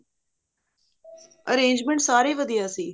arrangement ਸਾਰੇ ਵਧੀਆ ਸੀ